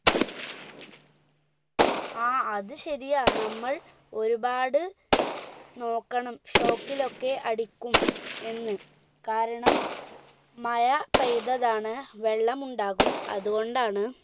ആ അത് ശരിയാ നമ്മൾ ഒരുപാട് നോക്കണം shock ലോക്കെ അടിക്കും എന്ന് കാരണം മഴ പെയ്തതാണ് വെള്ളമുണ്ടാകും അതുകൊണ്ടാണ്